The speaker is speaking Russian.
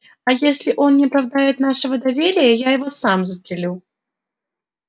а если он не оправдает нашего доверия я его сам застрелю